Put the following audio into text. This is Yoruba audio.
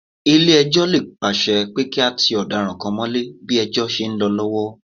Ilé-ẹjọ́ lè pàsẹ pé kí a ti ọ̀daràn kan mọ́lé ní ìdájọ́ ṣe ń lọ lọ́wọ́